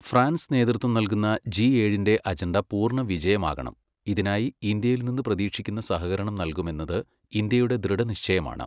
France നേതൃത്വം നല്കുന്ന, G ഏഴിന്റെ അജണ്ട പൂർണ്ണവിജയമാകണം, ഇതിനായി ഇന്ത്യയിൽ നിന്ന് പ്രതീക്ഷിക്കുന്ന സഹകരണം നല്കുമെന്നത് ഇന്ത്യയുടെ ദൃഢനിശ്ചയമാണ്.